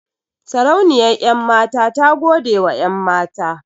Sarauniyar 'yanmata ta godewa 'yanmata.